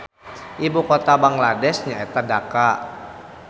Ibu kota Bangladesh nyaeta Dhaka